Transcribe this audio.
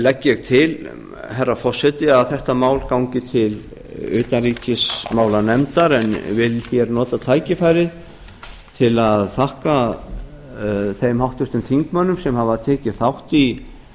legg ég til herra forseti að þetta mál gangi til utanríkismálanefndar en vil hér nota tækifærið til að þakka þeim háttvirtum þingmönnum sem hafa tekið þátt í